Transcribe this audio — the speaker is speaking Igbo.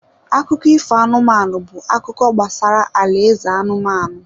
Akụkọ ifo anụmanụ bụ akụkọ gbasara alaeze anụmanụ.